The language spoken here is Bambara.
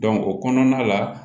o kɔnɔna la